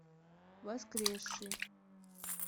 воскресший